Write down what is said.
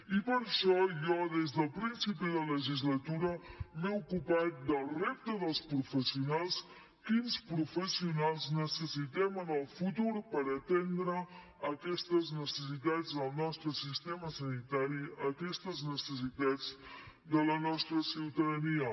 i per això jo des del principi de legislatura m’he ocupat del repte dels professionals quins professionals necessitem en el futur per atendre aquestes necessitats del nostre sistema sanitari aquestes necessitats de la nostra ciutadania